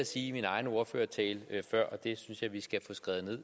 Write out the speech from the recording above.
sige i min egen ordførertale før og det synes jeg vi skal få skrevet